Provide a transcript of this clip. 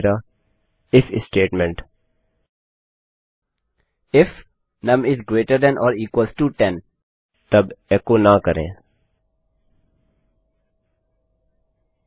फिर मेरा if statement if num is greater than or equal to 10 then no echo यदि नुम 10 से बड़ा या बराबर है तब एचो न करें